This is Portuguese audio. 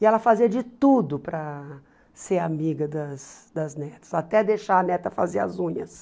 E ela fazia de tudo para ser amiga das das netas, até deixar a neta fazer as unhas.